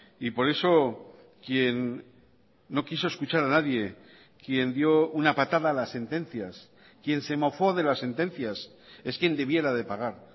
y por eso quien no quiso escuchar a nadie quien dio una patada a las sentencias quién se mofó de las sentencias es quien debiera de pagar